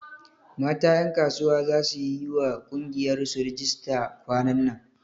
Mata ƴankasuwa za su yiwa ƙungiyar su rijista kwanan nan